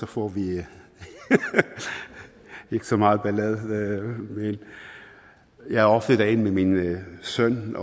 får vi ikke så meget ballade men jeg er ofte derinde med min søn